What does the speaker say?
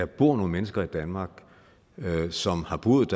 bor nogle mennesker i danmark som har boet